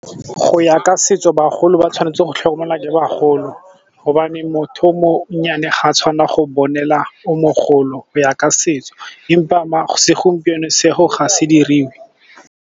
Go ya ka setso bagolo ba tshwanetse go tlhokomelwa ke bagolo gobane motho o monnyane ga a tshwanna go bonela o mogolo go ya ka setso empa segompieno seo ga se diriwe.